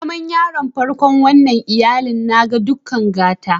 Zaman yaron farkon wannan iyallin, n'na da dukan gata.